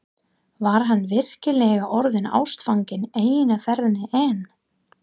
Var hann virkilega orðinn ástfanginn eina ferðina enn?